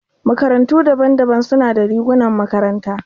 Makarantu daban-daban suna da rigunan makaranta.